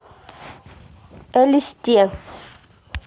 элисте